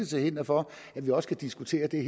til hinder for at vi også kan diskutere det